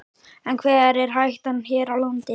En hver er hættan hér á landi?